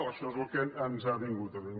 això és el que ens ha vingut a dir